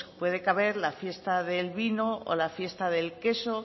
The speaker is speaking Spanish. puede caber la fiesta del vino o la fiesta del queso